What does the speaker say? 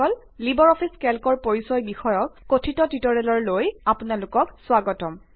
Libre office কেল্কৰ পৰিচয় বিষয়ক কথিত টিউটৰিয়েললৈ স্বাগতম